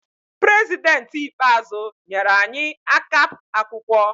Prezidentị ikpeazụ nyere anyi akap akwụkwọ